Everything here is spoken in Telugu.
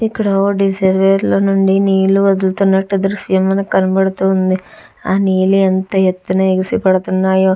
ఇక్కడ ఓ డిసర్వేయరు లో నుండి నీళ్లు వదులుతున్నట్టు దృశ్యం మనకు కనపడుతూ ఉంది ఆ నీరు ఎంత ఎత్తున ఎగసి పడుతున్నాయో --